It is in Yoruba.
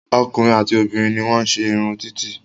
Ọkùnrin àti obìnrin ní wọ́n ń se irun títì